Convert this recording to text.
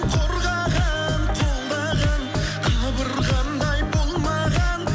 қорғаған қолдаған қабырғамдай болмаған